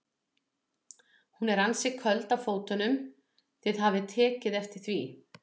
Hún er ansi köld á fótunum, þið hafið tekið eftir því?